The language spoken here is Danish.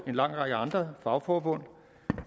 en lang række andre fagforbund